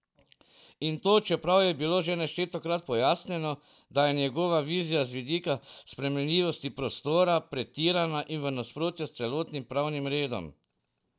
In to čeprav je bilo že neštetokrat pojasnjeno, da je njegova vizija z vidika sprejemljivosti prostora pretirana in v nasprotju s celotnim pravnim redom!